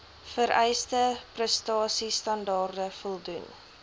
vereiste prestasiestandaarde voldoen